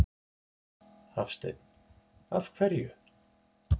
Hafsteinn: Af hverju?